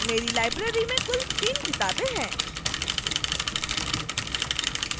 मेरी library में कुल 3 किताबें हैं